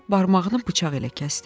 O barmağını bıçaq ilə kəsdi.